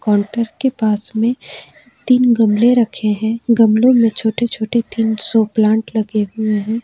Counter के पास में तीन गमले रखे हैं गमलों में छोटे छोटे तीन शो प्लांट्स लगे हुए हैं।